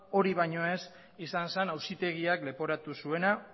hori baino ez izan zen auzitegiak leporatu zuena